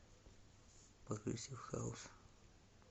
прогрессив хаус